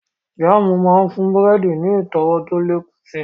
Jáàmù máa ń fún búrẹ́dì ní ìtọ́wọ̀ tó lè kún si